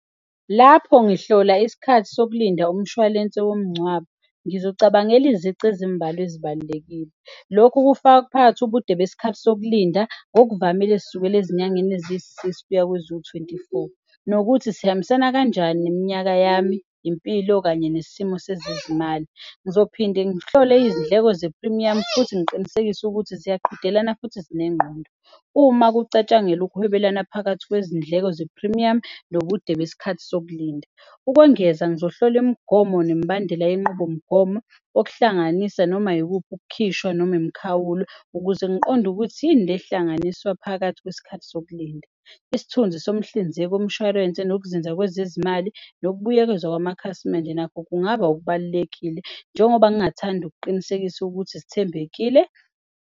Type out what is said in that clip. Lapho ngihlola isikhathi sokulinda umshwalense womngcwabo, ngizocabangela izici ezimbalwa ezibalulekile. Lokhu kufaka kuphakathi ubude besikhathi sokulinda ngokuvamile esisukela ezinyangeni eziyi-six kuya kweziwu-twenty four nokuthi sihambisana kanjani neminyaka yami, impilo kanye nesimo sezezimali. Ngizophinde ngihlole izindleko zephrimiyamu futhi ngiqinisekise ukuthi ziyaqhudelana futhi zinengqondo uma kucatshangelwa ukuhwebelana phakathi kwezindleko zephrimiyamu nobude besikhathi sokulinda. Ukwengeza, ngizohlola imigomo nemibandela yenqubomgomo okuhlanganisa noma yikuphi ukukhishwa noma imikhawulo ukuze ngiqonde ukuthi yini le ehlanganiswa phakathi kwesikhathi sokulinda. Isithunzi somhlinzeki womshwarense nokuzinza kwezezimali nokubuyekezwa kwamakhasimende nakho kungaba okubalulekile njengoba ngingathanda ukuqinisekisa ukuthi sithembekile.